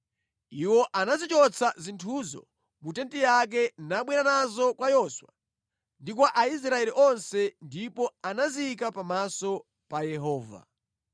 Iwo anazichotsa zinthuzo mu tenti yake nabwera nazo kwa Yoswa ndi kwa Aisraeli onse ndipo anaziyika pamaso pa Yehova.